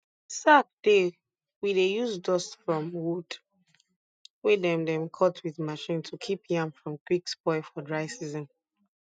sack dey we dey use dust from wood wey dem dem cut wit machine to kip yam from quick spoil for dry season